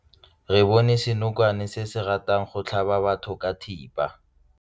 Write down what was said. Re bone senokwane se se ratang go tlhaba batho ka thipa.